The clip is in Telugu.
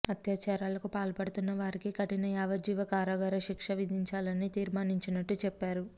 అత్యాచారాలకు పాల్పడుతున్న వారికి కఠిన యావజ్జీవ కారాగార శిక్షణ విధించాలని తీర్మానించినట్టు చెప్పా రు